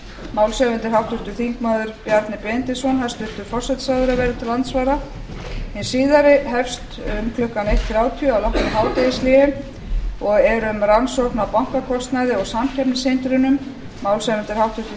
málshefjandi er háttvirtur þingmaður bjarni benediktsson hæstvirtur forsætisráðherra verður til andsvara hin síðari hefst um klukkan eitt þrjátíu að loknu hádegishléi og er um rannsókn á bankakostnaði og samkeppnishindrunum málshefjandi er háttvirtir